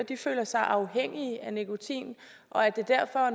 føler sig afhængig af nikotin og at det derfor